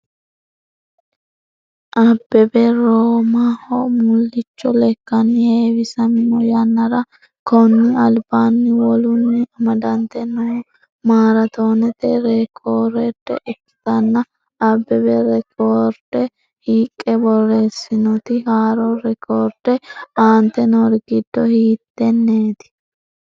Abbebe Roomaho mullicho lekkanni heewisamino yannara konni albaanni wolunni amadante noo maaraatoonete reekoorde ikkitanna Abbebe reekoorde hiiqqe borreessiisinoti haaro reekkoorde aante noori giddo hiittenneeti?